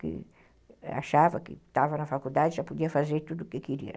que achava que estava na faculdade e já podia fazer tudo o que queria.